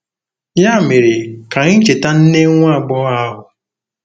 Ya mere, ka anyị cheta nne nwa agbọghọ ahụ.